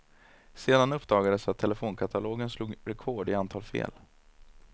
Sedan uppdagades att telefonkatalogen slog rekord i antal fel.